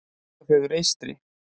Borgarfjörður eystri.